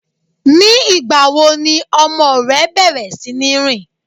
Ní ìgbà wo ni ọmọ rẹ bẹ̀rẹ̀ sí ní rìn?